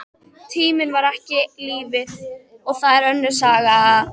Tíminn var ekki lífið, og það var önnur saga.